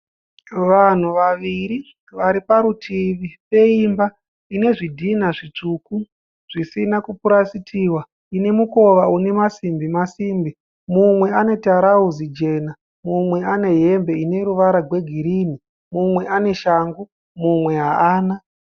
Vanhu vaviri vari parutivi peimba ine zvidhinha zvitsvuku zvisina kupurasitiwa ine mukova une masimbi masimbi. Mumwe ane tirauzi jena. Mumwe anehembe ine ruvara rwegirinhi. Mumwe ane shangu mumwe haana.